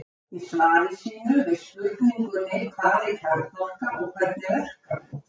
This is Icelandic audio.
Í svari sínu við spurningunni Hvað er kjarnorka og hvernig verkar hún?